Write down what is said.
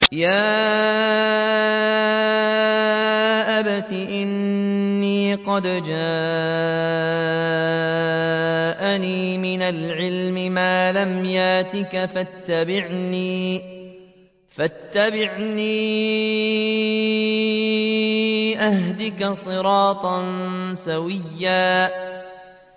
يَا أَبَتِ إِنِّي قَدْ جَاءَنِي مِنَ الْعِلْمِ مَا لَمْ يَأْتِكَ فَاتَّبِعْنِي أَهْدِكَ صِرَاطًا سَوِيًّا